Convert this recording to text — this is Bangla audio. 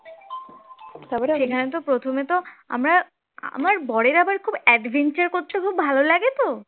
সেখানে তো প্রথমে তো আমরা আমার বরের আবার খুব adventure করতে খুব ভাল লাগে তো